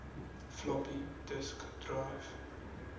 floppy disk drive